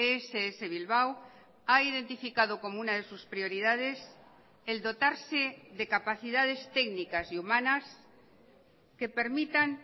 ess bilbao ha identificado como una de sus prioridades el dotarse de capacidades técnicas y humanas que permitan